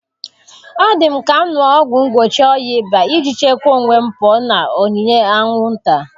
Ọ dị m ka m ṅụọ ọgwụ mgbochi oyi ịba iji chekwaa onwe m pụọ na onyinyé anwụnta.